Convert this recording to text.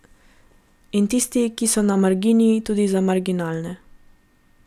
In tisti, ki so na margini tudi za marginalne.